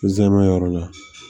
Zanmayɔrɔ lo